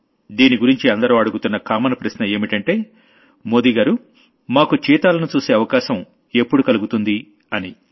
దీని గురించి అందరూ అడుగుతున్న కామన్ ప్రశ్న ఏంటంటే మోడీగారు మాకు చీతాలను చూసే అవకాశం ఎప్పుడు కలుగుతుంది అని